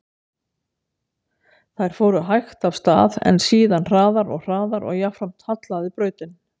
Þær fóru hægt af stað, en síðan hraðar og hraðar og jafnframt hallaði brautin.